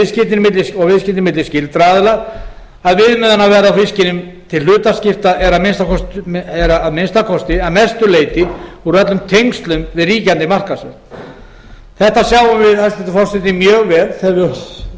og viðskipti milli óskyldra aðila að viðmiðunarverðið á fiskinum til hlutaskipta er að minnsta kosti að mestu leyti úr öllum tengslum við ríkjandi markaðsverð þetta sjáum við hæstvirtur forseti mjög vel þegar við